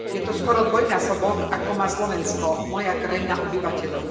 Je to skoro dvojnásobok, ako má Slovensko, moja krajina, obyvateľov.